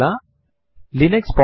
ഇത് മാസത്തിന്റെ പേരു നൽകുന്നു